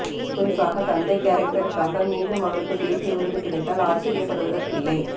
குறிப்பாக தந்தை கேரக்டருக்காக மீண்டும் அவருக்கு தேசிய விருது கிடைத்தால் ஆச்சரியப்படுவதற்கில்லை